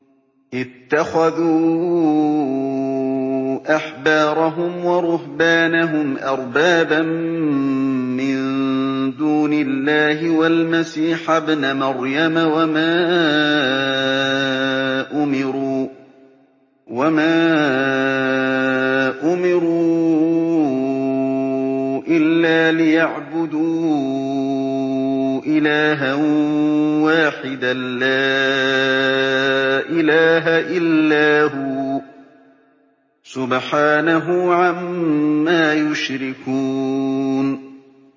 اتَّخَذُوا أَحْبَارَهُمْ وَرُهْبَانَهُمْ أَرْبَابًا مِّن دُونِ اللَّهِ وَالْمَسِيحَ ابْنَ مَرْيَمَ وَمَا أُمِرُوا إِلَّا لِيَعْبُدُوا إِلَٰهًا وَاحِدًا ۖ لَّا إِلَٰهَ إِلَّا هُوَ ۚ سُبْحَانَهُ عَمَّا يُشْرِكُونَ